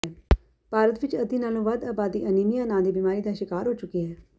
ਭਾਰਤ ਵਿੱਚ ਅੱਧੀ ਨਾਲੋਂ ਵੱਧ ਅਬਾਦੀ ਅਨੀਮੀਆ ਨਾਂ ਦੀ ਬਿਮਾਰੀ ਦਾ ਸ਼ਿਕਾਰ ਹੋ ਚੁੱਕੀ ਹੈ